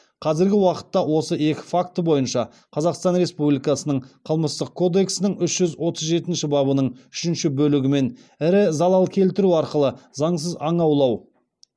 қазіргі уақытта осы екі факті бойынша қазақстан республикасының қылмыстық кодексінің үш жүз отыз жетінші бабының үшінші бөлігімен ірі залал келтіру арқылы заңсыз аң аулау